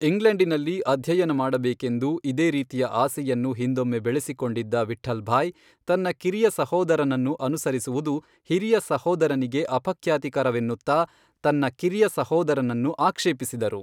ಇಂಗ್ಲೆಂಡಿನಲ್ಲಿ ಅಧ್ಯಯನ ಮಾಡಬೇಕೆಂದು ಇದೇ ರೀತಿಯ ಆಸೆಯನ್ನು ಹಿಂದೊಮ್ಮೆ ಬೆಳೆಸಿಕೊಂಡಿದ್ದ ವಿಠ್ಠಲ್ ಭಾಯ್, ತನ್ನ ಕಿರಿಯ ಸಹೋದರನನ್ನು ಅನುಸರಿಸುವುದು ಹಿರಿಯ ಸಹೋದರನಿಗೆ ಅಪಖ್ಯಾತಿಕರವೆನ್ನುತ್ತಾ ತನ್ನ ಕಿರಿಯ ಸಹೋದರನನ್ನು ಆಕ್ಷೇಪಿಸಿದರು.